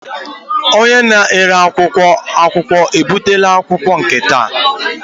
Onye na-ere akwụkwọ akụkọ ebutela nke taa?